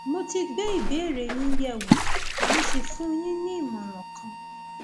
mo ti gbé ìbéèrè yín yẹwò mo sì fún yín ní ìmọràn kan